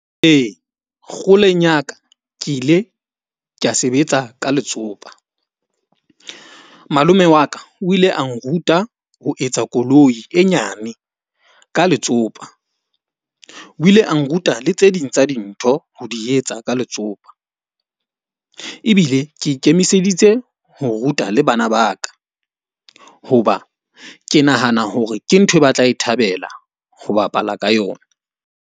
Ee, kgoleng ya ka ke ile ka sebetsa ka letsopa. Malome wa ka o ile a nruta ho etsa koloi e nyane ka letsopa. O ile a nruta le tse ding tsa dintho ho di etsa ka letsopa. Ebile ke ikemiseditse ho ruta le bana ba ka. Hoba ke nahana hore ke ntho e batla e thabela ho bapala ka yona.